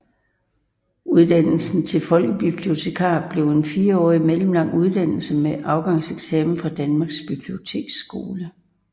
Uddannelsen til folkebibliotekar blev en fireårig mellemlang uddannelse med afgangseksamen fra Danmarks Biblioteksskole